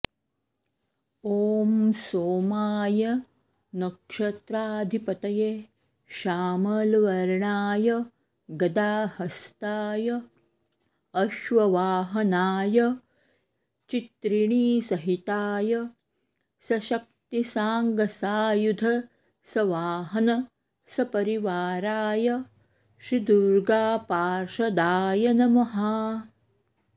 ॐ सोमाय नक्षत्राधिपतये श्यामलवर्णाय गदाहस्ताय अश्ववाहनाय चित्रिणीसहिताय सशक्तिसाङ्गसायुध सवाहन सपरिवाराय श्री दुर्गापार्षदाय नमः